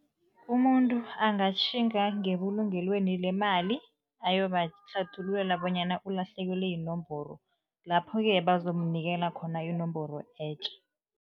Umuntu angatjhinga ngebulungelweni lemali, ayobahlathululele bonyana ulahlekelwe yinomboro, lapho-ke bazomnikela khona inomboro etjha.